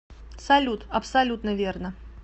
салют абсолютно верно